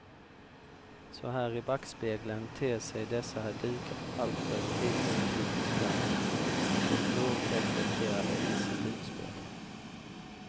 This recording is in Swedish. Så här i backspegeln ter sig dessa dukar alltför tidstypiska och oreflekterade i sitt utspel.